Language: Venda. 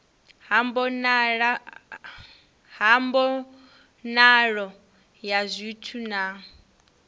ha mbonalo ya zwithu na